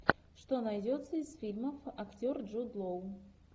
что найдется из фильмов актер джуд лоу